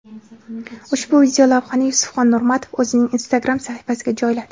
Ushbu videolavhani Yusufxon Nurmatov o‘zining Instagram sahifasiga joyladi.